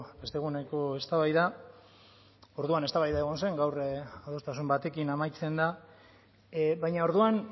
beste eguneko eztabaida orduan eztabaida egon zen gaur adostasun batekin amaitzen da baina orduan